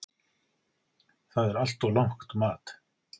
Það er allt of lágt mat.